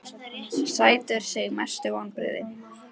sætur sigur Mestu vonbrigði?